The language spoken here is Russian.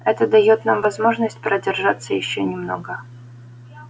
это даёт нам возможность продержаться ещё немного